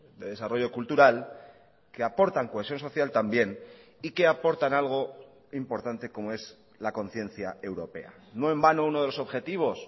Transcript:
de desarrollo cultural que aportan cohesión social también y que aportan algo importante como es la conciencia europea no en vano uno de los objetivos